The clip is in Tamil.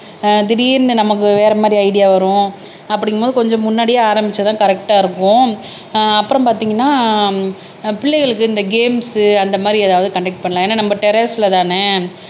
அஹ் திடீர்ன்னு நமக்கு வேற மாதிரி ஐடியா வரும் அப்படிங்கும்போது கொஞ்சம் முன்னாடியே ஆரம்பிச்சாதான் கரெக்டா இருக்கும் அஹ் அப்புறம் பார்த்தீங்கன்னா அஹ் பிள்ளைகளுக்கு இந்த கேம்ஸ் அந்த மாதிரி ஏதாவது கண்டக்ட் பண்ணலாம் ஏன்னா நம்ம டெரஸ்லதானே